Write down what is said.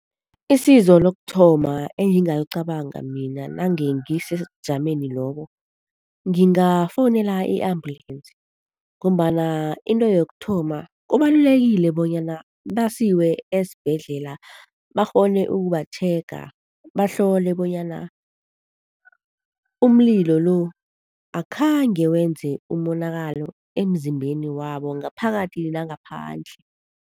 Isizo lokuthoma engingalicabanga mina nange ngisesebujameni lobo, ngingafowunela i-ambulensi ngombana into yokuthoma, kubalulekile bonyana basiwe esibhedlela bakghone ukubatjhega bahlole bonyana umlilo lo akhange wenze umonakalo emzimbeni wabo, ngaphakathi nangaphandle.